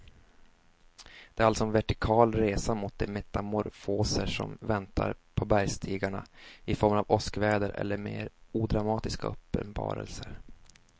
Det är alltså en vertikal resa mot de metamorfoser som väntar på bergsstigarna i form av åskväder eller mer odramatiska uppenbarelser.